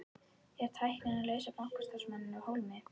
Er tæknin að leysa bankastarfsmanninn af hólmi?